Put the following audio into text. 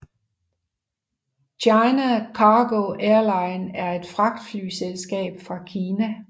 China Cargo Airlines er et fragtflyselskab fra Kina